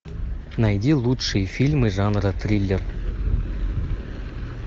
найди лучшие фильмы жанра триллер